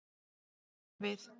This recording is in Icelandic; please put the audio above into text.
Bara við.